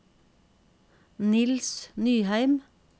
Niels Nyheim